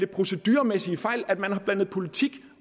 proceduremæssige fejl at man har blandet politik